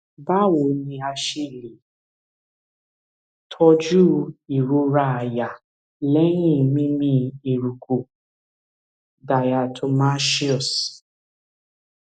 báwo ni a ṣe lè tọjú ìrora àyà lẹyìn mímí eruku diatomaceous